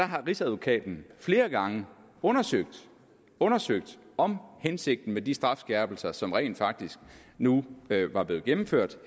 har rigsadvokaten flere gange undersøgt undersøgt om hensigten med de strafskærpelser som rent faktisk nu var blevet gennemført